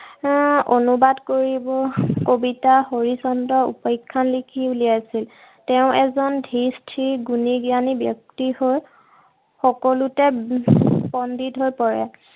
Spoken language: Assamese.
এৰ অনুবাদ কবিতা হৰিশ্চন্দ্ৰ উপাখ্যান লিখি উলিয়াইছিল। তেওঁ এজন ধীৰ-স্থিৰ, গুণী-জ্ঞানী ব্যক্তি হৈ সকলোতে পণ্ডিত হৈ পৰে।